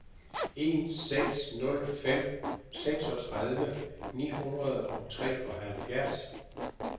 en seks nul fem seksogtredive ni hundrede og treoghalvfjerds